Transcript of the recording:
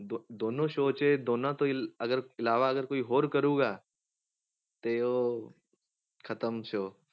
ਦੋ ਦੋਨੋਂ show 'ਚ ਦੋਨਾਂ ਤੋਂ ਅਗਰ ਇਲਾਵਾ ਅਗਰ ਕੋਈ ਹੋਰ ਕਰੇਗਾ ਤੇ ਉਹ ਖ਼ਤਮ show